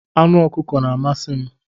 Anụ ọkụkọ na-amasị m.